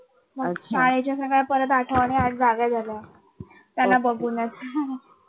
शाळेच्या सगळ्या परत आठवणी आजार झाल्यास त्याला बघूनच